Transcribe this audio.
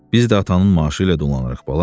Biz də atanın maaşı ilə dolanırıq, bala.